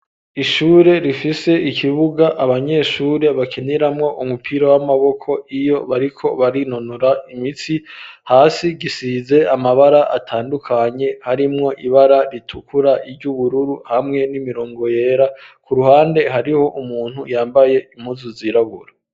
Ishure rifise ikibuga abanyeshure bakiniramwo umupira w'amaboko iyo bariko barinonora imitsi hasi gisize amabara atandukanye harimwo ibara ritukura iry'ubururu hamwe n'imirongo yera ku ruhande hariho umuntu yambaye impuzu zirabura.